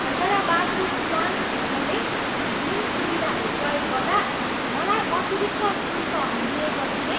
हैदराबादको स्वाङ्क होटलले जिम सुविधाहरू प्रयोग गर्दा मलाई अतिरिक्त शूल्कहरू लिएपछि नै